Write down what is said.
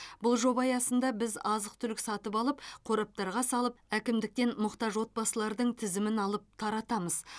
бұл жоба аясында біз азық түлік сатып алып қораптарға салып әкімдіктен мұқтаж отбасылардың тізімін алып таратамыз